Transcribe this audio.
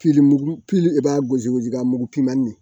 i b'a gosi gosilanbugu pimin